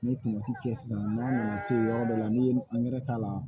N ye kɛ sisan n'a nana se yɔrɔ dɔ la n'i ye k'a la